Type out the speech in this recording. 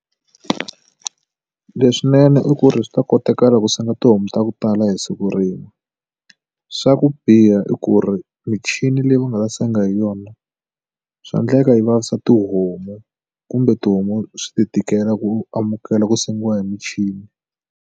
Leswinene i ku ri swi ta kotekala ku senga tihomu ta ku tala hi siku rin'we swa ku biha i ku ri michini leyi mi nga senga hi yona swa endleka yi vavisa tihomu kumbe tihomu swi ti tikela ku amukela ku sengiwa hi michini.